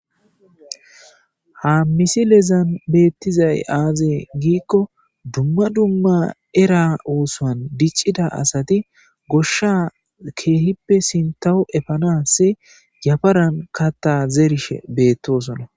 Ha misilezan beettizay aazee giikko dumma dumma era oosoan diccida asati goshsha keehippe sintahu efanas yafaran katta zerishe beettosona.